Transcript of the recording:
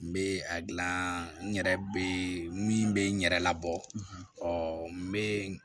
N bɛ a gilan n yɛrɛ bɛ min bɛ n yɛrɛ labɔ n bɛ